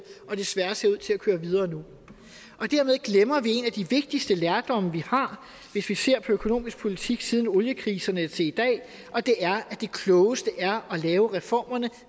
og desværre ser ud til at køre videre nu dermed glemmer vi en af de vigtigste lærdomme vi har hvis vi ser på økonomisk politik siden oliekriserne til i dag og det er at det klogeste er at lave reformerne